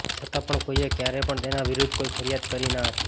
છતાં પણ કોઈએ ક્યારે પણ તેના વિરુદ્ધ કોઈ ફરિયાદ કરી ના હતી